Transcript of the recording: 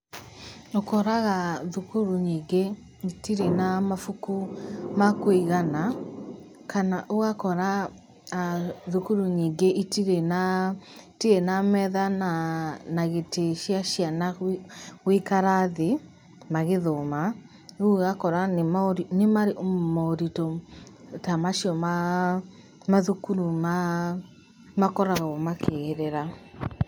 Ũkoraga thukuru nyingĩ itirĩ na mabuku ma kũigana, kana ũgakora thukuru nyingĩ itirĩ na metha na gĩtĩ cia ciana gũikara thĩ magĩthoma. Rĩu ũgakora nĩ moritũ ta macio ma mathukuru makoragwo makĩgerera.